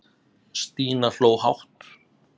Stína hló hátt.